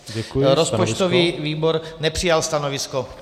Rozpočtový výbor nepřijal stanovisko.